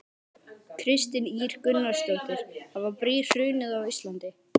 Kristín Ýr Gunnarsdóttir: Hafa brýr hrunið á Íslandi?